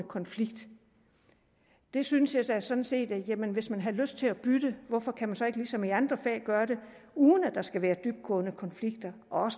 konflikt jeg synes da sådan set hvis man har lyst til at bytte hvorfor kan man så ikke ligesom i andre fag gøre det uden at der skal være dybtgående konflikter og